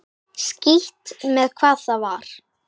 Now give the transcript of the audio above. Skítt með hvað það var.